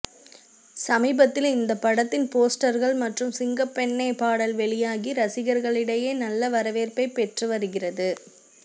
சமீபத்தில் இந்தப் படத்தின் போஸ்டர்கள் மற்றும் சிங்கப்பெண்ணே பாடல் வெளியாகி ரசிகர்களிடையே நல்ல வரவேற்பைப் பெற்று வருகிறது